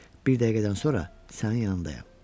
Bir dəqiqədən sonra sənin yanındayam.